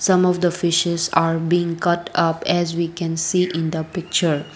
some of the fishes are being cut up as we can see in the picture.